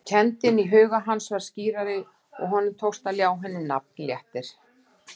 Kenndin í huga hans varð skýrari og honum tókst að ljá henni nafn, léttir.